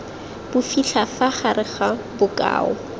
bofitlha fa gare ga bokao